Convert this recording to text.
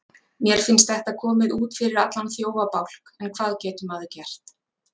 Mér finnst þetta komið út fyrir allan þjófabálk en hvað getur maður gert?